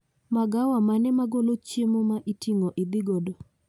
Magawa mane magolo chiemo ma iting'o idhi godo